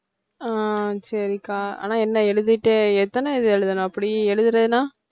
ஆஹ் சரிகா ஆனால் என்ன எழுதிட்டே எத்தனை இது எழுதணும் அப்படி எழுதலைனா